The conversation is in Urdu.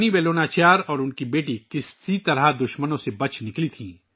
رانی ویلو ناچیار اور ان کی بیٹی کسی طرح دشمنوں سے بچ گئیں